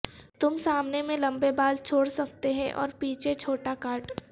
تم سامنے میں لمبے بال چھوڑ سکتے ہیں اور پیچھے چھوٹا کاٹ